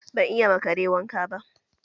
Ban iya ma Kare wanka ba